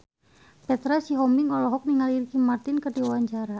Petra Sihombing olohok ningali Ricky Martin keur diwawancara